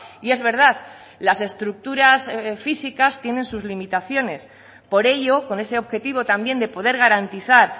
y es verdad las estructuras físicas tienen sus limitaciones por ello con ese objetivo también de poder garantizar